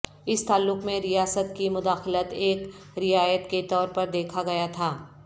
اس تعلق میں ریاست کی مداخلت ایک رعایت کے طور پر دیکھا گیا تھا